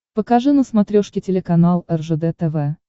покажи на смотрешке телеканал ржд тв